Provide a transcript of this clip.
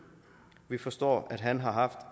vi forstår at han har haft